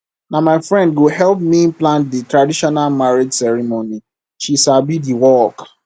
na my friend go help me plan di traditional marriage ceremony she sabi di work